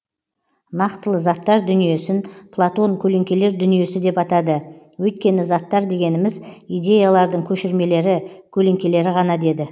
нақтылы заттар дүниесін платон көлеңкелер дүниесі деп атады өйткені заттар дегеніміз идеялардың көшірмелері көлеңкелері ғана деді